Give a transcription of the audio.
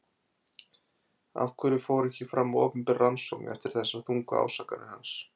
Af hverju fór ekki fram opinber rannsókn eftir þessar þungu ásakanir hans?